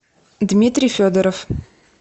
дмитрий федоров